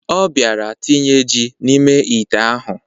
Ọ bịara tinye ji n'ime ite ahụ.